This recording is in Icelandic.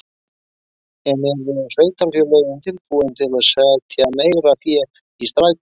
En eru sveitarfélögin tilbúin til að setja meira fé í strætó?